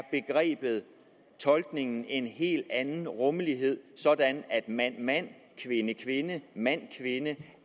tolkningen en helt anden rummelighed sådan at mand mand kvinde kvinde og mand kvinde